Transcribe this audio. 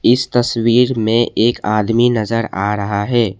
इस तस्वीर में एक आदमी नजर आ रहा है।